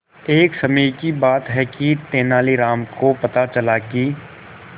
एक समय की बात है कि तेनालीराम को पता चला कि